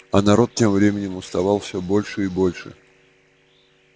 а народ тем временем уставал все больше и больше